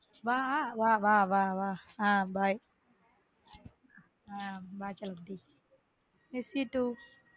வா வ வ வ ஹம் bye வ செல்ல குட்டி miss you too.